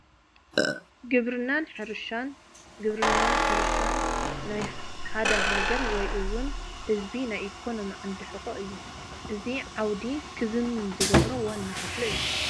ግብርናን ሕርሻን- ግብርናን ሕርሻን ናይ ሓደ ሃግር ወይ ውን ህዝቢ ናይ ኢኮኖሚ ዓንዲ ሑቐ እዩ፡፡ እዚ ዓውዲ ኽዝምን ዝግበኦ ዋና ክፍሊ እዩ፡፡